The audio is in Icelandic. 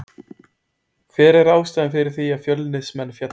Hver er ástæðan fyrir því að Fjölnismenn féllu?